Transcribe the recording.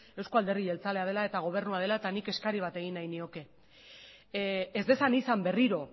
euzko alderdi jeltzalea dela eta gobernua dela eta nik eskari bat egin nahi nioke ez dezan izan berriro